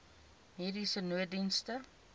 mediese nooddienste